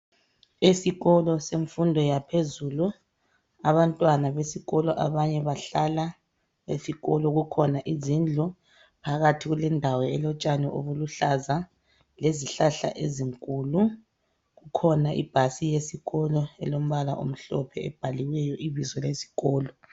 Esikolo semfundo yaphezulu abantwana besikolo abanye bahlala esikolo. Kukhona izindlu phakathi kulindawo elotshani obuluhlaza lezihlahla ezinkulu, kukhona ibhasi yesikolo elombala omhlophe ebhaliweyo ibizo lesikolo.